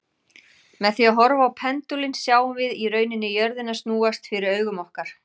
Með því að horfa á pendúlinn sjáum við í rauninni jörðina snúast fyrir augum okkar.